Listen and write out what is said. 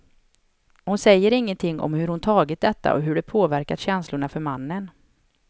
Hon säger ingenting om hur hon tagit detta och hur det påverkat känslorna för mannen.